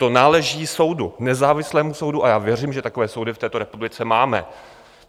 To náleží soudu, nezávislému soudu, a já věřím, že takové soudy v této republice máme.